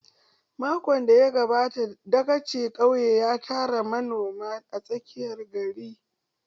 Makon da ya gabata dagacin ƙauye ya tara manoma a tsakiyar gari.